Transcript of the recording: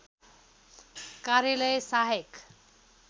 कार्यालय सहायक